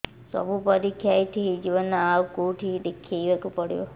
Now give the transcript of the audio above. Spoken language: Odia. ସବୁ ପରୀକ୍ଷା ଏଇଠି ହେଇଯିବ ନା ଆଉ କଉଠି ଦେଖେଇ ବାକୁ ପଡ଼ିବ